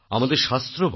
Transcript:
আমাদের শাস্ত্র বলে